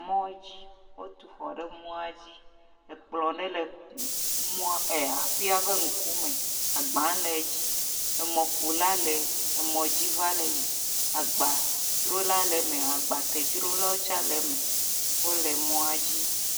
Mɔ dzi wotu xɔ ɖe mɔa dzi, ekplɔ ɖe le mɔa ee…aƒea ƒe ŋkume, agbaa le edzi, emɔƒola le emɔ dzi va le yiyim, agbadrola le eme, agbatedrola tse le eme, wole mɔa dzi.